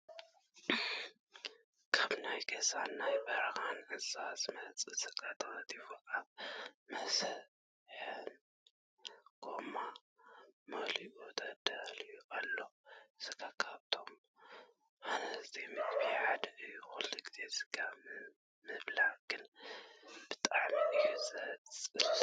ካብ ናይ ገዛን ናይ በረካን እንስሳ ዝመፅእ ስጋ ተከቲፉ ኣብ መሰጣሕ ጎማ መሉኡ ተዳልዩ ኣሎ። ስጋ ካብቶም ሃነፅቲ ምግብታት ሓደ እዩ ።ኩሉ ግዜ ስጋ ምብላዕ ግን ብጣዕሚ እዩ ዘፅልእ።